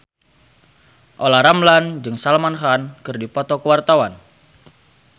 Olla Ramlan jeung Salman Khan keur dipoto ku wartawan